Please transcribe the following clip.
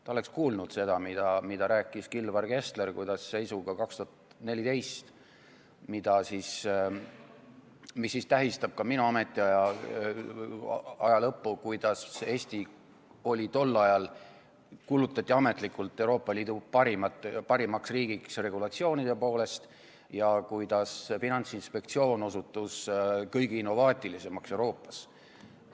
Ta oleks kuulnud seda, mida rääkis Kilvar Kessler, kuidas 2014. aasta seisuga, mis tähistab ka minu ametiaja lõppu, kuulutati Eesti tol ajal ametlikult Euroopa Liidu parimaks riigiks regulatsioonide poolest ja kuidas Finantsinspektsioon osutus kõige innovaatilisemaks Euroopas.